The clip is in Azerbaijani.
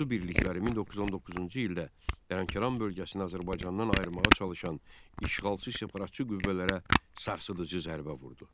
Ordu birlikləri 1919-cu ildə Lənkəran bölgəsini Azərbaycandan ayırmağa çalışan işğalçı separatçı qüvvələrə sarsıdıcı zərbə vurdu.